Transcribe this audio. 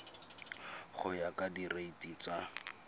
go ya ka direiti tsa